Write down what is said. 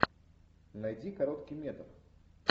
найди короткий метр